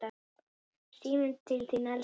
Síminn til þín, elskan!